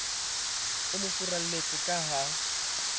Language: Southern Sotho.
o mo furalletse ka ha